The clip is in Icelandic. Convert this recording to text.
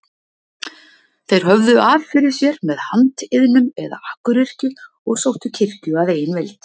Þeir höfðu af fyrir sér með handiðnum eða akuryrkju og sóttu kirkju að eigin vild.